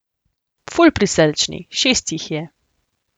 Ful prisrčni, šest jih je.